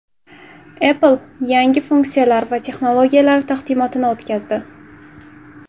Apple yangi funksiyalar va texnologiyalari taqdimotini o‘tkazdi.